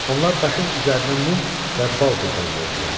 Onlar daşın üzərinə mum və bal qurban verdilər.